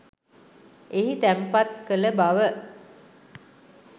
එහි තැන්පත් කළ බව